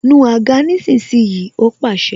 Nu àga nísinsìnyí! Ó pàṣẹ